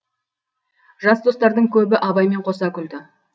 жас достардың көбі абаймен қоса күлді